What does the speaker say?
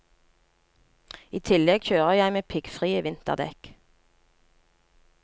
I tillegg kjører jeg med piggfrie vinterdekk.